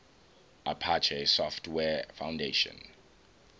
apache software foundation